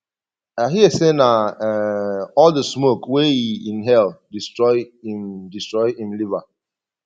i hear say na um all the smoke wey e inhale destroy im destroy im liver